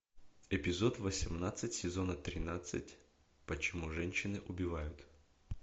эпизод восемнадцать сезона тринадцать почему женщины убивают